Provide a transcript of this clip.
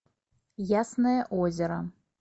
ясное озеро